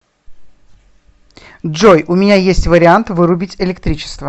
джой у меня есть вариант вырубить электричество